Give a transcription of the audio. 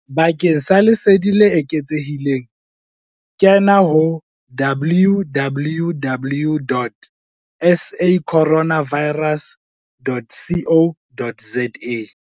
Bakeng sa lesedi le eketsehileng kena ho www.sacorona virus.co.za